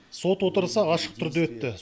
сот отырысы ашық түрде өтті